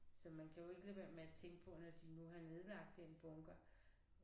Så man kan jo ikke lade være med at tænke på når de nu har nedlagt den bunker